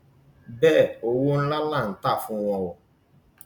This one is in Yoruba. bẹẹ owó ńlá là ń tà á fún wọn o